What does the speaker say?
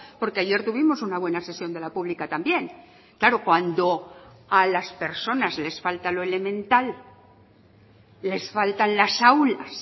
porque ayer tuvimos una buena sesión de la pública también claro cuando a las personas les falta lo elemental les faltan las aulas